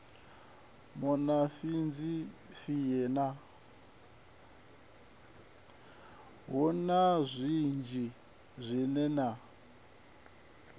hu na zwinzhi zwine na